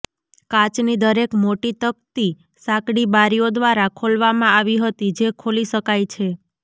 કાચની દરેક મોટી તકતી સાંકડી બારીઓ દ્વારા ખોલવામાં આવી હતી જે ખોલી શકાય છે